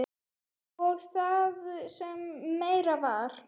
Og það sem meira var.